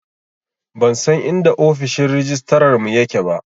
Ban san inda ofishin rajistarar mu ya ke ba